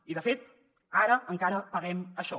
i de fet ara encara paguem això